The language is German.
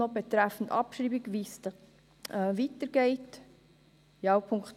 Betreffend Abschreibung wollen wir erst hören, wie es weitergehen soll.